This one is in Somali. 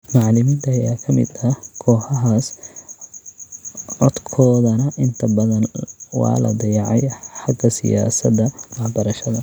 Macallimiinta ayaa ka mid ah kooxahaas, codkoodana inta badan waa la dayacay xagga siyaasadda waxbarashada.